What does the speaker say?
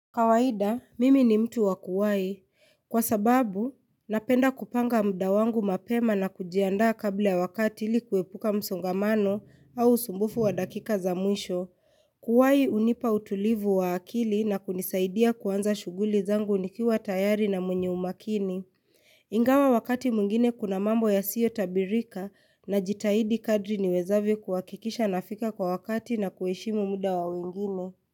Kawaida, mimi ni mtu wakuwai. Kwa sababu, napenda kupanga muda wangu mapema na kujiandaa kabla wakati ili kuepuka msongamano au usumbufu wa dakika za mwisho. Kuwai hunipa utulivu wa akili na kunisaidia kuanza shughuli zangu nikiwa tayari na mwenye umakini. Ingawa wakati mwingine kuna mambo yasiyo tabirika najitahidi kadri ni wezavyo kuhakikisha nafika kwa wakati na kuheshimu muda wa wengine.